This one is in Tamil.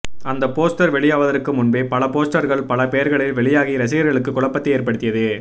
அந்த போஸ்டர் வெளியாவதற்கு முன்பே பல போஸ்டர்கள் பல பெயர்களில் வெளியாகி ரசிகர்களுக்கு குழப்பத்தை ஏற்படுத்தியது